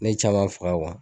Ne ye caman faga kuwa